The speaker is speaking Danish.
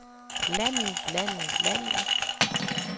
landet landet landet